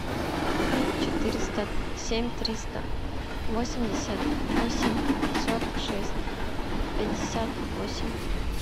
пять четыреста семь триста восемьдесят восемь сорок шесть пятьдесят восемь